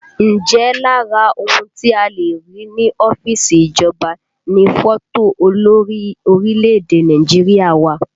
Ǹjẹ́ lára ohun tí a le rí ní ọ́fíìsì ìjọba ni fọ́tò olórí orílẹ̀èdè Nàìjíríà wà?